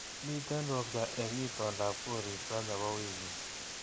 Miten ropta eng itondab koristo nebo wiikini